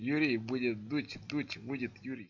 юрий будет дуть дуть будет юрий